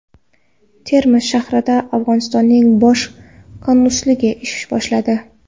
Termiz shahrida Afg‘onistonning bosh konsulligi ish boshladi.